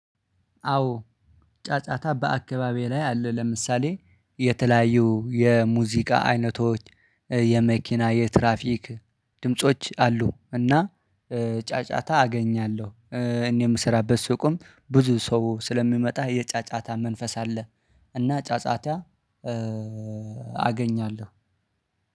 አዎ ጫጫታ በአከባቢዬ ላይ አለ ለምሳሌ የተለያዩ የሙዚቃ አይነቶች የመኪና የትራፊክ ድምጾች አሉ እና ጫጫታ አገኛለው እኔ የምሰራበት ሱቅም ብዙ ሰው ስለሚመጣ የጫጫታ መንፈስ አለ እና ጫጫታ አገኛለው።